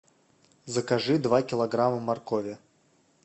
закажи два килограмма моркови